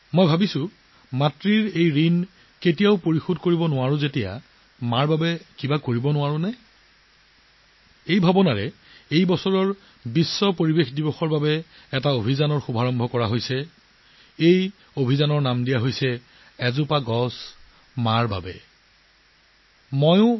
মই ভাবি আছিলো আমি মাতৃক একো দিব নোৱাৰো কিন্তু আমি কি কৰিব পাৰো এই চিন্তাধাৰাৰ পৰা এই বছৰ বিশ্ব পৰিৱেশ দিৱসৰ ওপৰত এক বিশেষ অভিযান আৰম্ভ কৰা হৈছে এই অভিযানৰ নাম হ'ল 'এজোপা গছ মাতৃৰ নামত'এক পেড় মা কে নাম